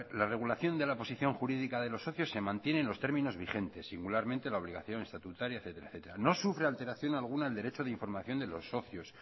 la regulación de la posición jurídica de los socios se mantiene en los términos vigentes singularmente la obligación estatutaria etcétera no sufre alteración alguna el derecho de información de los socios